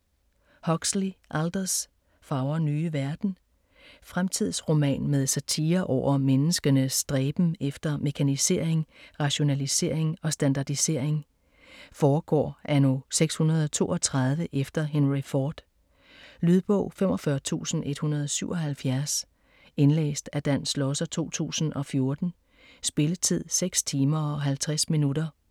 Huxley, Aldous: Fagre nye verden Fremtidsroman med satire over menneskenes stræben efter mekanisering, rationalisering og standardisering. Foregår anno 632 efter Henry Ford. Lydbog 45177 Indlæst af Dan Schlosser, 2014. Spilletid: 6 timer, 50 minutter.